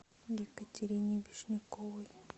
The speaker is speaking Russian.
екатерине вишняковой